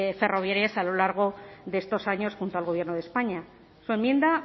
ferroviarias a lo largo de estos años junto al gobierno de españa su enmienda